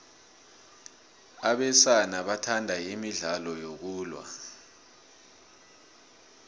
abesana bathanda imidlalo yokulwa